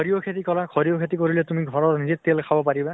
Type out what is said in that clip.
সৰিয়হ খেতি কৰা, সৰিয়হ খেতি কৰিলে তুমি ঘৰৰ নিজে তেল খাব পাৰিবা ।